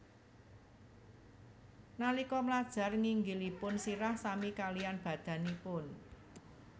Nalika mlajar nginggilipun sirah sami kaliyan badanipun